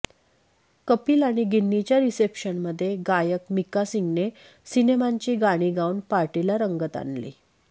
कपिल आणि गिन्नीच्या रिसेप्शनमध्ये गायक मिक्का सिंगने सिनेमांची गाणी गाऊन पार्टीला रंगत आणली